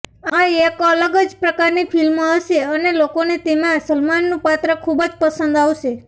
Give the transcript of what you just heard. આ એક અલગ જ પ્રકારની ફિલ્મ હશે અને લોકોને તેમાં સલમાનનું પાત્ર ખુબ પસંદ આવશે